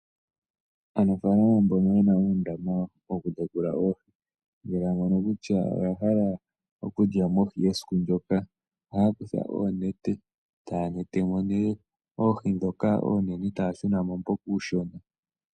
Aanafaalama mbono yena uundama woku tekula oohi, ngele ya mono kutya oya hala oku lyamo oohi esiku ndyoka, ohaya kutha oonete etaya yulu mo nee oohi ndhoka oonene, taya shunamo mboka uushona.